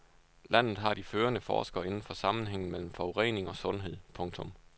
Landet har de førende forskere inden for sammenhængen mellem forurening og sundhed. punktum